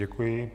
Děkuji.